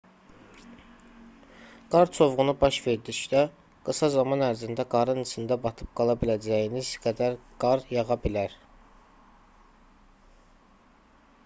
qar çovğunu baş verdikdə qısa zaman ərzində qarın içində batıb qala biləcəyiniz qədər qar yağa bilər